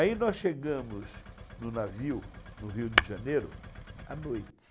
Aí nós chegamos no navio, no Rio de Janeiro, à noite.